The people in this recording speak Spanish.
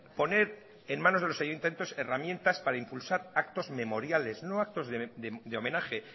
poner en manos de los ayuntamientos herramientas para impulsar actos memoriales no actos de homenaje